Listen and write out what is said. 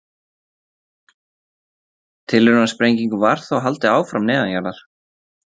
Tilraunasprengingum var þó haldið áfram neðanjarðar.